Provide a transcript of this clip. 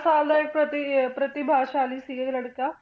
ਪ੍ਰਤਿ~ ਇਹ ਪ੍ਰਤਿਭਾਸ਼ਾਲੀ ਸੀ ਇਹ ਲੜਕਾ।